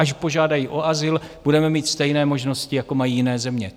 Až požádají o azyl, budeme mít stejné možnosti, jako mají jiné země.